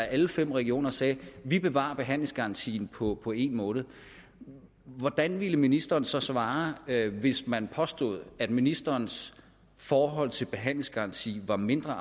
at alle fem regioner sagde at de bevarer behandlingsgarantien på på en måned hvordan ville ministeren så svare hvis man påstod at ministerens forhold til behandlingsgarantien var mindre